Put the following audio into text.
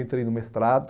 Entrei no mestrado,